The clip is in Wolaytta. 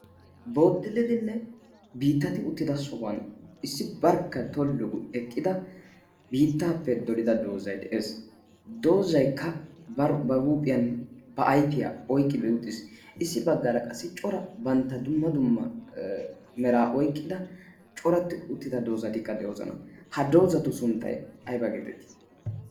bodilidinne biittati uttida sohuwan issi barkka tollu eqqida biittaappe dolida doozai de7ees. doozaikka ba huuphiyan ba aifiyaa oiqqidi uxxiis. issi baggaara qassi cora bantta dumma dumma meraa oiqqida coratti uttida doozatikka de7oozana. ha doozatu sunttai aiba' geetettii?